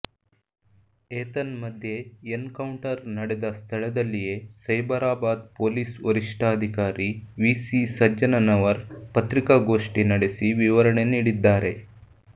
ಏತನ್ಮಧ್ಯೆ encounter ನಡೆದ ಸ್ಥಳದಲ್ಲಿಯೇ ಸೈಬರಾಬಾದ್ ಪೊಲೀಸ್ ವರಿಷ್ಠಾಧಿಕಾರಿ ವಿಸಿ ಸಜ್ಜನವರ್ ಪತ್ರಿಕಾಗೋಷ್ಠಿ ನಡೆಸಿ ವಿವರಣೆ ನೀಡಿದ್ದಾರೆ